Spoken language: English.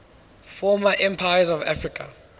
former empires of africa